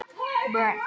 Þau eru látin.